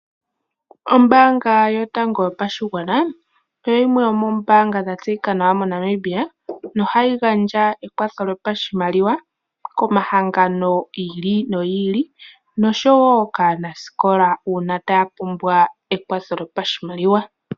Ombanga yotango yopashingwana moNamibia oyo yimwe yomoombanga ndhoka dhatseyika nawa moshilongo shetu. Ombanga ndjika ohayi gandja omakwatho komahangano giili no giili nosho woo kaanasikola uuna ngele taa pumbwa ekwatho lyopashimaliwa.